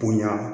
Bonya